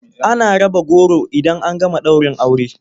Ana raba goro idan an gama daurin aure.